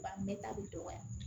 Ba bɛɛ ta bi dɔgɔya